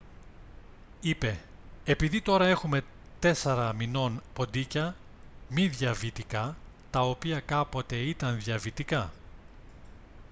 είπε «επειδή τώρα έχουμε 4 μηνών ποντίκια μη διαβητικά τα οποία κάποτε ήταν διαβητικά»